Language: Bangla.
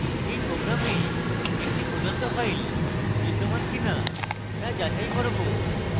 in program আমরা একটি প্রদত্ত file বিদ্যমান কিনা তা যাচাই করব